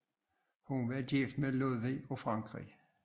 Hun var gift med Ludvig af Frankrig